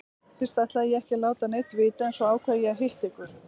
Fyrst ætlaði ég ekki að láta neinn vita en svo ákvað ég að hitta ykkur.